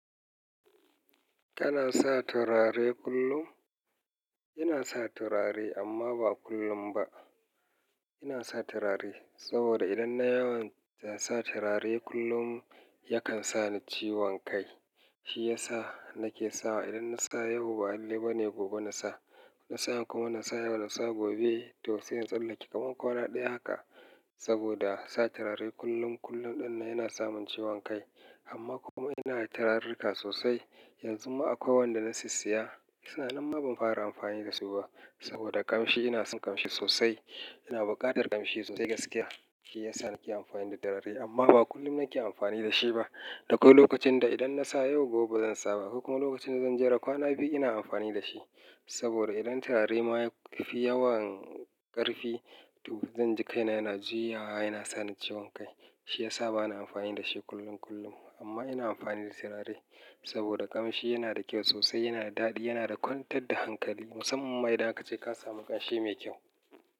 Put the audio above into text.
Kana sa turare kullum? Ina sa turare amma ba kullum ba. Ina sa turare saboda idan na yawan sa turare kullum yakan sa ni ciwon kai. Shi yasa nake sawa idan na sa yau, ba lalle bane gobe na sa. Na sa yau kuma na sa yau na sa gobe. To sai in tsallake kaman kwana ɗaya haka saboda sa turare kullum kullum ɗinnan yana samin ciwon kai. Amma kuma ina da turarrika sosai. Yanzu ma akwai wanda na sisiya. Suna nam ma ban fara amfani da su ba saboda kamshi. Ina son kamshi sosai. Ina buƙatar kamshi sosai gaskiya. Shi yasa nake amfani da turare amma ba kullum nake amfani da shi ba. Da akwai lokacin da idan na sa yau gobe ba zan sa ba. Akwai kuma lokacin da zan jera kwana biyu ina amfani da shi. Saboda idan turare ma fi yawan ƙarfi to zan ji kaina yana juyawa yana sa ni ciwon kai. Shi yasa ba na amfani da shi kullum kullum. Amma ina amfani da turare saboda kamshi yana da kyau sosai, yana da daɗi, yana da kwantar da hankali musamman ma idan aka ce ka samu ƙamshi mai kyau.